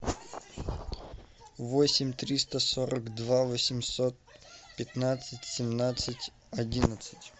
восемь триста сорок два восемьсот пятнадцать семнадцать одиннадцать